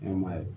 Ɲɛnɛma ye